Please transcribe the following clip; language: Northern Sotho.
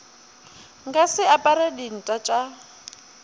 nka se apare dinta tša